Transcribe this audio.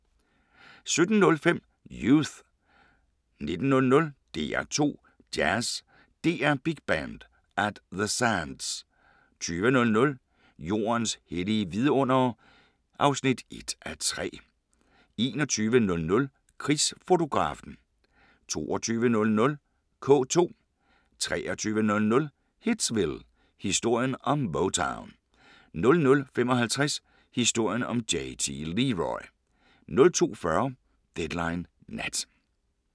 17:05: Youth 19:00: DR2 Jazz: DR Big Band – At The Sands 20:00: Jordens hellige vidundere (1:3) 21:00: Krigsfotografen 22:00: K2 23:00: Hitsville: Historien om Motown 00:55: Historien om JT Leroy 02:40: Deadline Nat